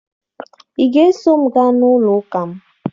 Ị ga-eso m gaa n'ụlọụka m